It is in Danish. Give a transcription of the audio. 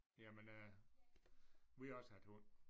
Jamen øh vi har også haft hund